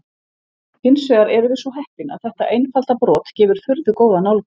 Hins vegar erum við svo heppin að þetta einfalda brot gefur furðu góða nálgun.